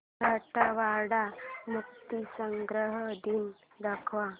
मराठवाडा मुक्तीसंग्राम दिन दाखव